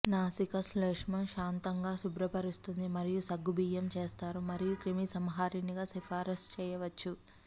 నాసికా శ్లేష్మం శాంతముగా శుభ్రపరుస్తుంది మరియు సగ్గుబియ్యము చేస్తారు మరియు క్రిమిసంహారిణిగా సిఫారసు చేయవచ్చు